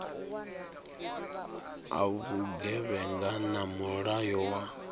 a vhugevhenga na mulayo wa